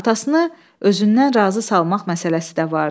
Atasını özündən razı salmaq məsələsi də vardı.